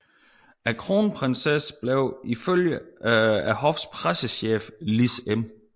Kronprinsessen blev ifølge hoffets pressechef Lis M